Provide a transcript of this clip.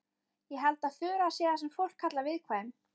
Ég held að Þura sé það sem fólk kallar viðkvæm.